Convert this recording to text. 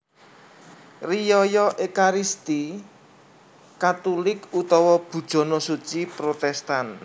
Riyaya Ékaristi Katulik utawa Bujana Suci Protèstan